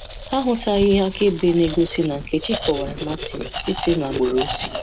Ha ahụtaghị ihe akaebe na-egosi na Nkechi kọwara Martin site n'agbụrụ o si.